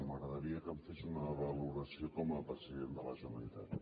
m’agradaria que me’n fes una valoració com a president de la generalitat